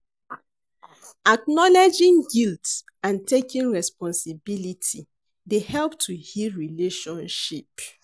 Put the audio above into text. Acknowledging guilt and taking responsibility dey help to heal relationship.